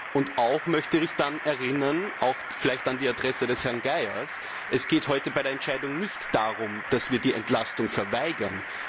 Und ich möchte auch daran erinnern auch vielleicht an die Adresse des Herrn Geier dass es heute bei der Entscheidung nicht darum geht, die Entlastung zu verweigern.